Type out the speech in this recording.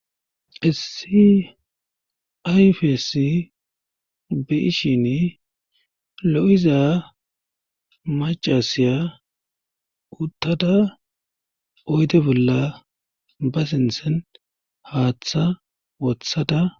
Issi ayfesi beishin lo7iza macasiya uttada oyde bolla ba sintsen haaththa wothada